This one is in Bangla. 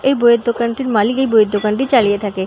এই বইয়ের দোকানটির মালিক এই বইয়ের দোকানটি চালিয়ে থাকে।